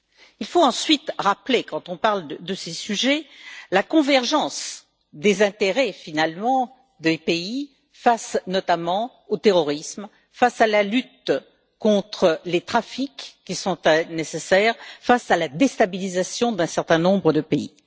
Il faut ensuite rappeler, quand on parle de ces sujets, la convergence des intérêts, finalement, des pays face notamment au terrorisme, face à la lutte contre les trafics, qui est nécessaire, face à la déstabilisation d'un certain nombre de pays.